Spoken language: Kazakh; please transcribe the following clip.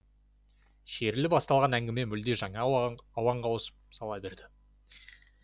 шерлі басталған әңгіме мүлде жаңа ауанға ауысып сала берді